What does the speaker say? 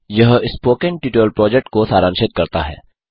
यह spoken tutorial project को सारांशित करता है